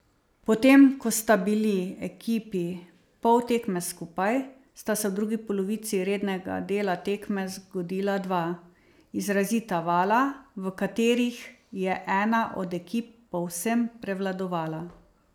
Potem ko sta bili ekipi pol tekme skupaj, sta se v drugi polovici rednega dela tekme zgodila dva izrazita vala, v katerih je ena od ekip povsem prevladovala.